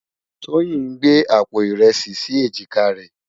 Toyin n gbé ápó irèsi si éjiká rè